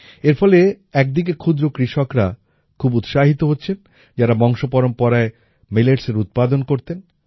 এর ফলে একদিকে ক্ষুদ্র কৃষকরা খুব উৎসাহিত হচ্ছেন যারা বংশপরম্পরায় milletsএর উৎপাদন করতেন